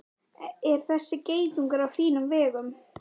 Er þessi geitungur á þínum vegum?